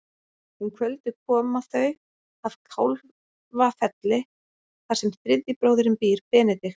Um kvöldið koma þau að Kálfafelli þar sem þriðji bróðirinn býr, Benedikt.